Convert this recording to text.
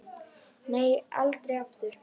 Nei, aldrei aftur.